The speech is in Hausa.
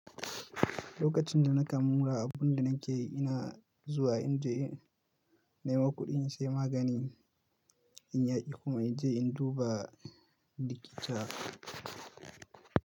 Lokacin da na kammala abun da nake yi, ina zuwa in je nema kuɗi, in sai magani in ya ƙi kuma in je in duba likita.